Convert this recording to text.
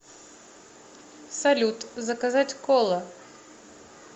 салют заказать кола